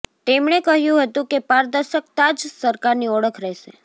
તેમણે કહ્યું હતું કે પારદર્શકતા જ સરકારની ઓળખ રહેશે